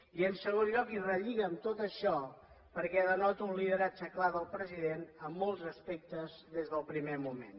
i en segon lloc i relliga amb tot això perquè denota un lideratge clar del president en molts aspectes des del primer moment